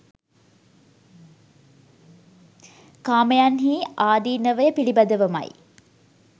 කාමයන්හි ආදිනවය පිළිබඳවමයි